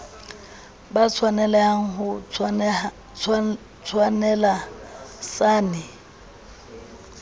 ba tshwaneleha ho tshwaneleha sane